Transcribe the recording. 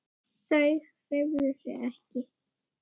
Þau hreyfðu sig ekki.